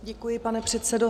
Děkuji, pane předsedo.